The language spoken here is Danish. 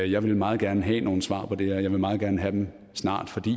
jeg vil meget gerne have nogle svar på det her og jeg vil meget gerne have dem snart fordi